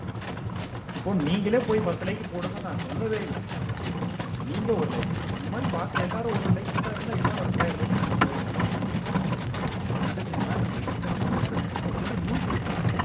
இப்போ நீங்களே போய் பத்து like போடுங்க நான் சொல்லவே இல்ல நீங்க ஒரு like அந்த மாதிரி பார்க்கிற எல்லாரும் ஒரு ஒரு like போட்டா இருந்தா இந்நேரம் இரண்டாயிரம் like நம்ம போயிருக்கலாமே bank வெறித்தனமா போயிட்டு இருக்கான் ஏன்னா அவனுக்கு ஏதும் news இருக்கா